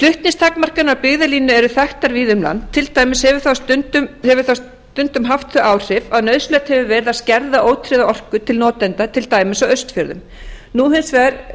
flutningstakmarkanir af byggðalínu eru þekktar víða um land til dæmis hefur það stundum haft þau áhrif að nauðsynlegt hefur verið að skerða ótryggða orku til notenda til dæmis af austfjörðum nú hins